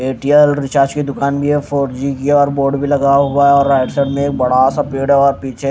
Airtel recharge की दुकान भी है फोर जी की है और बोर्ड भी लगा हुआ है और राइट साइड में बड़ा सा पेड़ और पीछे--